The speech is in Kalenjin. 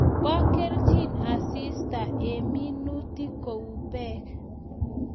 Po kelchin asista eng minutik kou peek